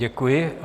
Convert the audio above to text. Děkuji.